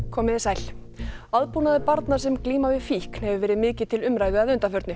komiði sæl aðbúnaður barna sem glíma við fíkn hefur verið mikið til umræðu að undanförnu